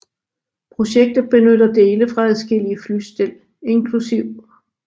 Projektet benytter dele fra adskillige flystel inkl